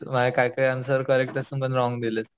माझे काही काही ऍन्सर करेक्ट असून पण रॉन्ग दिलेत